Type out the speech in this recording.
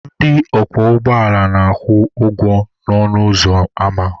Ndị ọkwọ ụgbọala na-akwụ ụgwọ ọnụ ụzọ ama.